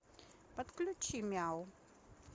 подключи мяу